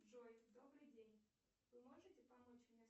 джой добрый день вы можете помочь мне